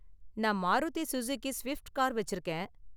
நான் Maruti Suzuki Swift car வச்சிருக்கேன்.